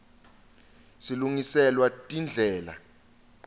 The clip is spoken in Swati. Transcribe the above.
silungiselwa tindlela